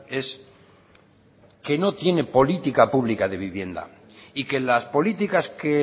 es que no tiene política pública de vivienda y que las políticas que